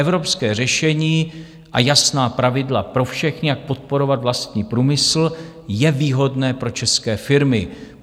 Evropské řešení a jasná pravidla pro všechny, jak podporovat vlastní průmysl, je výhodné pro české firmy.